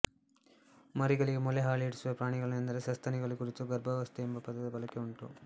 ಮರಿಗಳಿಗೆ ಮೊಲೆ ಹಾಲೂಡಿಸುವ ಪ್ರಾಣಿಗಳನ್ನು ಎಂದರೆ ಸಸ್ತನಿಗಳನ್ನು ಕುರಿತು ಗರ್ಭಾವಸ್ಥೆ ಎಂಬ ಪದದ ಬಳಕೆ ಉಂಟು